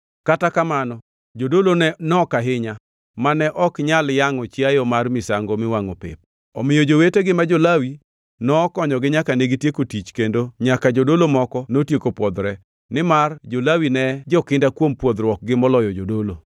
Kata kamano jodolo ne nok ahinya mane ok nyal yangʼo chiayo mar misango miwangʼo pep; omiyo jowetegi ma jo-Lawi nokonyogi nyaka negitieko tich kendo nyaka jodolo moko notieko pwodhore, nimar jo-Lawi ne jokinda kuom pwodhruokgi moloyo jodolo.